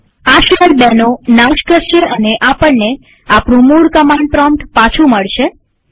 આ શેલ ૨નો નાશ કરશે અને આપણને આપણું મૂળ કમાંડ પ્રોમ્પ્ટ પાછું મળશે